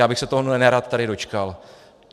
Já bych se tohoto nerad tady dočkal!